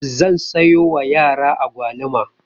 Zan sayo wa yara agwaluma.